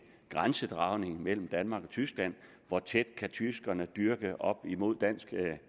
grænsedragningen mellem danmark og tyskland hvor tæt kan tyskerne dyrke op imod dansk